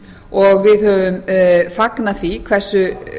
og við höfum fagnað því hversu